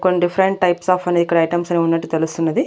కొన్ని different types of అనే ఇక్కడ ఐటమ్స్ అనేవి ఉన్నట్టు తెలుస్తున్నది.